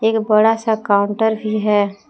एक बड़ा सा काउंटर भी है।